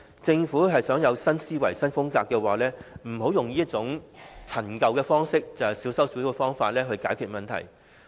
政府想有新思維、新風格的話，便不要用這種陳舊的方式，小修小補的方法去解決問題。